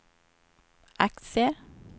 aktier